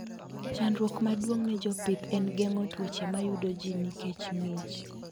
Chandruok maduong' ne jopith en geng'o tuoche mayudo ji nikech ng'ich.